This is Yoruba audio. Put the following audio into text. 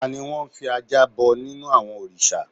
Tani wọ́n n fi ajá bọ nínú àwọn òrìsà?